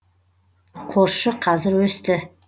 қосшы қазір өсті